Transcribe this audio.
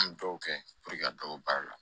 An bɛ dɔw kɛ ka dɔw baara la